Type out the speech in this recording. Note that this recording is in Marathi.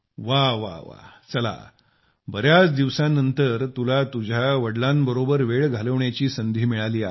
वाह वाह वाह चला बर्याच दिवसानंतर तुला तुझ्या वडिलांसोबत वेळ घालवण्याची संधी मिळाली आहे